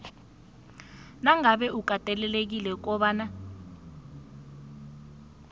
nangabe ukatelelekile kobana